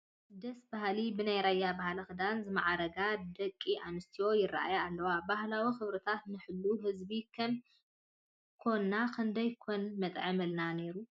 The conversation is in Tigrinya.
ደስ በሃሊ፡፡ ብናይ ራያ ባህላዊ ክዳን ዝማዕረጋ ደጊ ኣንስትዮ ይርአያ ኣለዋ፡፡ ባህላዊ ክብርታትና ንሕሉ ህዝቢ ከም ኮንናስ ክንደይ ኮን መጥዓመልና ነይሩ፡፡